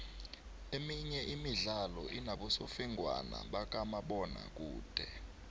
emenye imidlalo inobosofengwana bakamabona kude